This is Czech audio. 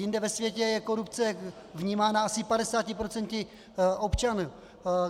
Jinde ve světě je korupce vnímána asi 50 % občanů.